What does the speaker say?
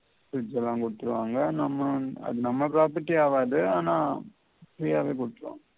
fridge எல்லாம் குடுத்திடுவாங்க நம்ம அது நம்ம property ஆவாது ஆனா free யாவெ குடுத்திடுவாங்க